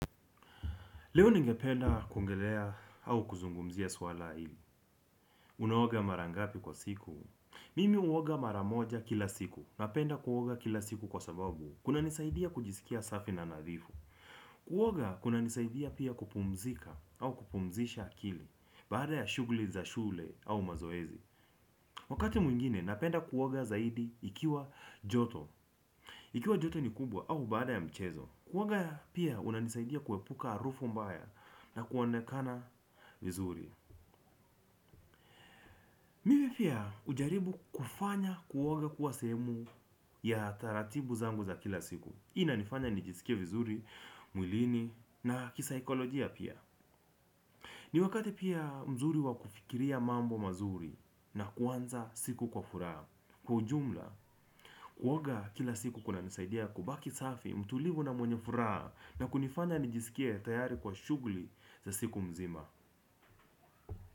Leo ningependa koungelea au kuzungumzia swala hili. Unaoga mara ngapi kwa siku. Mimi huoga mara moja kila siku. Napenda kuoga kila siku kwa sababu kuna nisaidia kujisikia safi na nadhifu kunanisaidia pia kupumzika au kupumzisha akili baada ya shughuli za shule au mazoezi. Wakati mwingine napenda kuoga zaidi ikiwa joto ikiwa joto ni kubwa au baada ya mchezo kuoga pia unanisaidia kuepuka harufu mbaya. Na kuonekana vizuri. Mimi pia hujaribu kufanya kuoga kuwa sehemu ya taratibu zangu za kila siku. Ina nifanya nijisikia vizuri, mwilini na kisaikolojia pia. Ni wakati pia mzuri wa kufikiria mambo mazuri na kuanza siku kwa furaha. Kwa ujumla, kuoga kila siku kunanisaidia kubaki safi, mtulivu na mwenye furaha. Na kunifanya nijisikie tayari kwa shughuli za siku mzima.